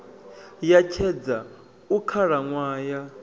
ya tshedza hu khalaṅwaha ya